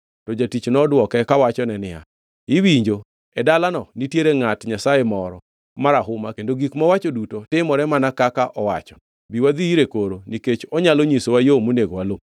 To jatich nodwoke kawachone niya, “Iwinjo, e dalano nitiere ngʼat Nyasaye moro marahuma kendo gik mowacho duto timore mana kaka owacho. Bi wadhi ire koro nikech onyalo nyisowa yo monego waluw.”